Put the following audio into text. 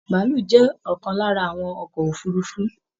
Bàálù jẹ ọkan lára àwọn ọkọ òfurùnfu